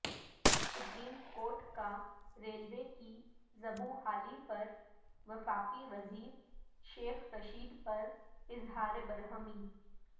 supreme Court کا railway کی زبوں حالی پر وفاقی وزیر شیخ رشید پر اظہار برہمی